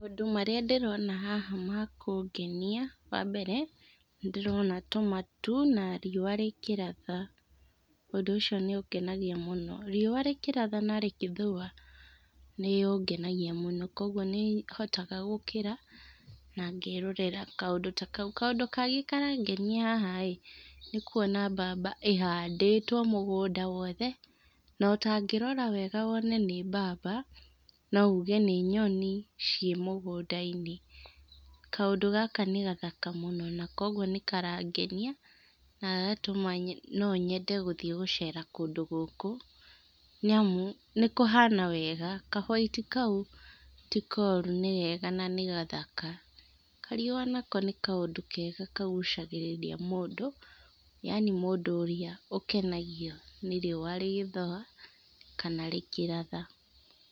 Maũndũ marĩa ndĩrona haha ma kũngenia, wa mbere nĩ ndĩrona tũmatu na riũa rĩkĩratha, ũndũ ũcio nĩ ũngenagia mũno, riũa rĩkĩ ratha na rĩgĩthũa nĩ ũngenagia mũno kwoguo, nĩ hotaga gũkĩra na ngerorera kaũndũ ta kau, kaũndũ kangĩ karangenia haha ĩĩ nĩ kwona mbaba ĩhandĩtwo mũgũnda wothe no ta ngĩrora wega wone nĩ mbaba no uge nĩ nyoni, ciĩ mũgũnda-inĩ, kaũndũ gaka nĩ gathaka mũno, nakoguo nĩ karangenia na gagatũma no nyende gũthiĩ gũcera kũndũ gũkũ, nĩ amu nĩ kũhana wega, ka white kau ti koru nĩ kega na nĩ gathaka, kariũa nako nĩ kaũndũ kega nako kagucagĩrĩria mũndũ yaani mũndũ ũrĩa ũkenagio nĩ riũa rĩgĩthũa kana rĩkĩratha.